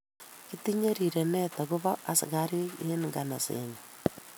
Kitinye rirenet ak ko bo asikari en ngansat nenyon